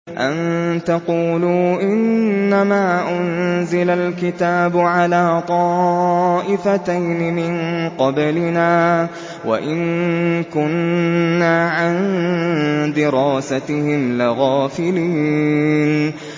أَن تَقُولُوا إِنَّمَا أُنزِلَ الْكِتَابُ عَلَىٰ طَائِفَتَيْنِ مِن قَبْلِنَا وَإِن كُنَّا عَن دِرَاسَتِهِمْ لَغَافِلِينَ